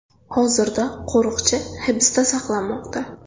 Hozirda qo‘riqchi hibsda saqlanmoqda.